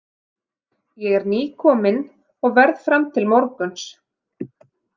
Ég er nýkominn og verð fram til morguns.